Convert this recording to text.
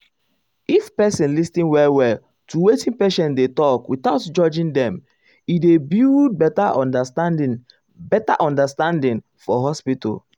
if person lis ten well well to wetin patient dey talk without judging dem e dey build better understanding better understanding for hospital.